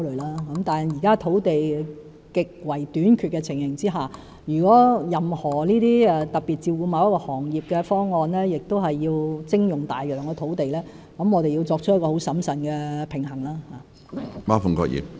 但是，在現時土地極為短缺的情形下，任何為特別照顧某個行業而要徵用大量土地的方案，我們必須十分審慎地作出平衡。